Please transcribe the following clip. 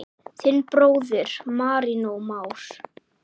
Þinn bróðir, Marinó Már.